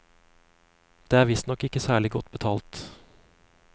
Det er visstnok ikke særlig godt betalt.